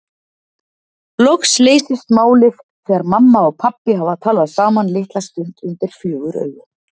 Loks leysist málið þegar mamma og pabbi hafa talað saman litla stund undir fjögur augu.